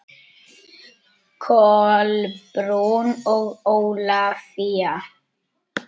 Kolbrún og Ólafía.